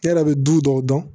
E yɛrɛ bɛ du dɔw dɔn